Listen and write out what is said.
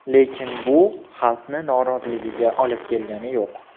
Lekin bu xalqni noroziligiga olib kelgani yo‘q.